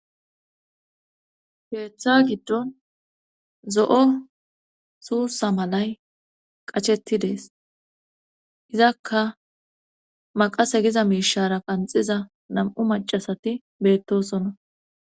Keeththa giddon zo'o suusa malay qachettidees izakka maqase giza miishara qanxiza nam'u macasati beettosona